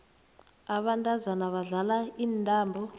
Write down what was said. abantazana badlala intambo